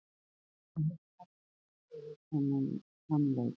Við verðum að hugsa mikið fyrir þann leik.